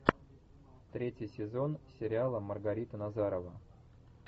третий сезон сериала маргарита назарова